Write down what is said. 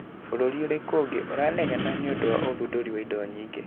Bũrũri ũrĩku ũngĩ iranegena nĩundũ uthunduria wa indo nyingĩ